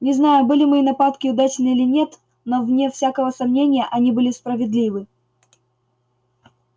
не знаю были мои нападки удачны или нет но вне всякого сомнения они были справедливы